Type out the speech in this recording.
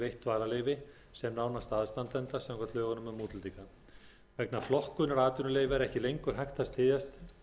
dvalarleyfi sem nánasta aðstandanda samkvæmt lögum um útlendinga vegna flokkunar atvinnuleyfa er ekki lengur hægt að styðjast